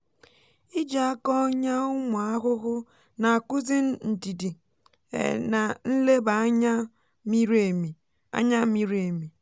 iji aka ọnyà ụmụ ahụhụ na-akụzi ndidi um na nleba anya miri emi. anya miri emi.